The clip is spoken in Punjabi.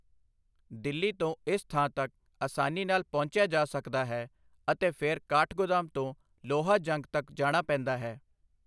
ਦਿੱਲੀ ਤੋਂ ਇਸ ਥਾਂ ਤੱਕ ਆਸਾਨੀ ਨਾਲ ਪਹੁੰਚਿਆ ਜਾ ਸਕਦਾ ਹੈ ਅਤੇ ਫਿਰ ਕਾਠਗੋਦਾਮ ਤੋਂ ਲੋਹਾਜੰਗ ਤੱਕ ਜਾਣਾ ਪੈਂਦਾ ਹੈ।